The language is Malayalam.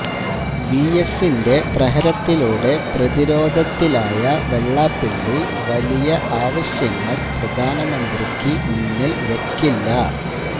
വിഎസിന്റെ പ്രഹരത്തിലൂടെ പ്രതിരോധത്തിലായ വെള്ളാപ്പള്ളി വലിയ ആവശ്യങ്ങൾ പ്രധാനമന്ത്രിക്ക് മുന്നിൽ വയ്ക്കില്ല